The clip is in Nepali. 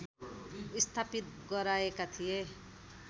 स्थापित गराएका थिए